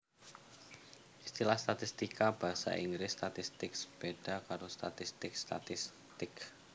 Istilah statistika basa Inggris statistics béda karo statistik statistic